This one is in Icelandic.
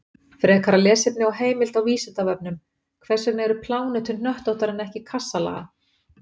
Frekara lesefni og heimild á Vísindavefnum: Hvers vegna eru plánetur hnöttóttar en ekki kassalaga?